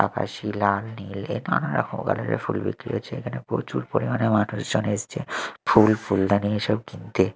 আকাশি লাল নীল এ নানারকম কালার -এর ফুল বিক্রি হচ্ছে এখানে প্রচুর পরিমাণে মানুষজন এসছে ফুল ফুলদানি এসব কিনতে।